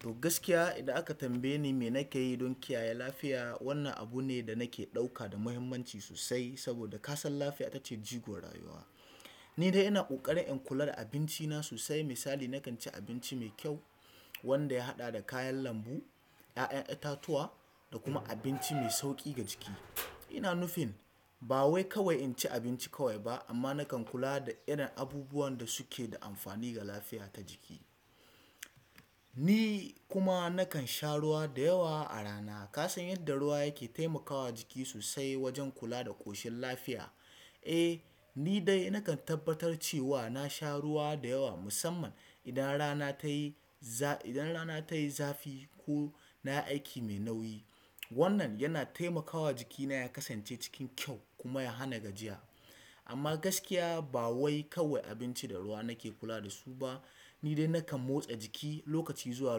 To gaskiya, idan aka tambaye ni me nake yi don kiyaye lafiya, wannan abu ne da nake ɗauka da muhimmanci sosai. Saboda ka san lafiya ita ce jigo rayuwa. Ni dai ina ƙoƙarin in kula da abinci na sosai. Misali, nakan ci abinci mai kyau wanda ya haɗa da kayan lambu, ƴaƴan itatuwa da kuma abinci mai sauƙi ga jiki. Ina nufin ba wai kawai in ci abinci kawai ba amma nakan kula da irin abubuwan da suke da amfani ga lafiya ta jiki. Ni kuma nakan sha ruwa da yawa a rana. Ka san yadda ruwa yake taimakawa jiki sosai wajen kula da ƙoshin lafiya. Eh, ni dai nakan tabbatar cewa na sha ruwa da yawa musamman idan rana tayi za-idan rana tayi zafi ko na yi aiki mai nauyi. Wannan yana taimakawa jikina ya kasance cikin kyau kuma ya hana gajiya. Amma gaskiya ba wai kawai abinci da ruwa nake kula da su ba. Ni dai nakan motsa jiki lokaci zuwa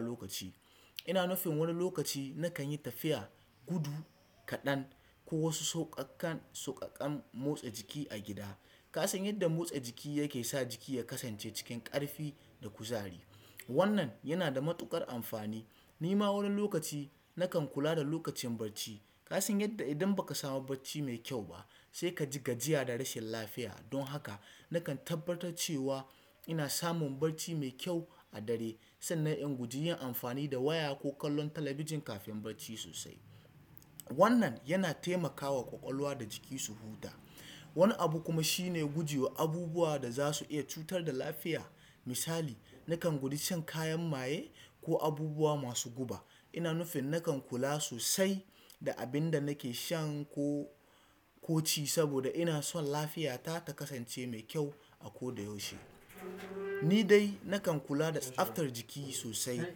lokaci. Ina nufin wani lokaci nakan yi tafiya, gudu kaɗan ko wasu sauƙaƙan-sauƙaƙan motsa jiki a gida. Ka san yadda motsa jiki yake sa jiki ya kasance cikin ƙarfi da kuzari. Wannan yana da matuƙar amfani. Ni ma wani lokaci nakan kula da lokacin barci. Ka san yadda idan ba ka samu bacci mai kyau ba sai ka ji gajiya da rashin lafiya. Don haka nakan tabbatar cewa ina samun bacci mai kyau a dare sannan in guji yin amfani da waya ko kallon talabijin kafin bacci sosai. Wannan yana taimakawa ƙwaƙwalwa da jiki su huta. Wani abu kuma shine guje wa abubuwa da za su iya cutar da lafiya. Misali, nakan guji shan kayan maye ko abubuwa masu guba. Ina nufin nakan kula sosai da abin da nake shan ko-ko ci saboda ina son lafiyata ta kasance mai kyau a ko da yaushe. Ni dai nakan kula da tsaftar jiki sosai.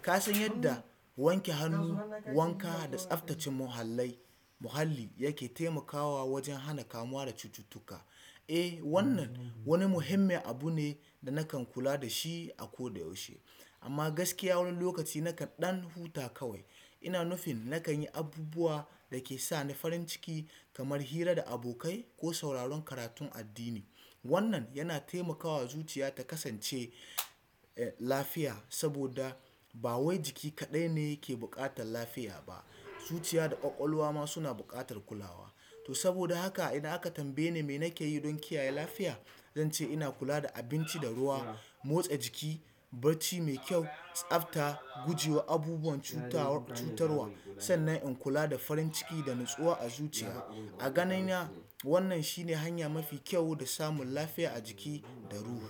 Ka san yadda wanke hannu, wanka da tsaftace muhallai-muhalli yake taimakawa wajen hana kamuwa da cututtuka. Eh, wannan wani muhimmin abu ne da nakan kula da shi a ko da yaushe. Amma gaskiya wani lokaci nakan ɗan huta kawai. Ina nufin nakan yi abubuwa da ke sa ni farin ciki kamar hira da abokai ko sauraron karatun addini. Wannan yana taimakawa zuciya ta kasance, eh, lafiya saboda ba wai jiki kaɗai ne yake buƙatar lafiya ba. Zuciya da ƙwaƙwalwa ma suna buƙatar kulawa. To saboda haka idan aka tambaye ni me nake yi don kiyaye lafiya, zan ce ina kula da abinci da ruwa, motsa jiki, bacci mai kyau, tsafta, guje wa abubuwan cutawar-cutarwa sannan in kula da farin ciki da natsuwa a zuciya. A ganina wannan shine hanya mafi kyau da samun lafiya a jiki da ruhi.